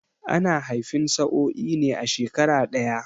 Ana haifan sa'oi ne a shekara ɗaya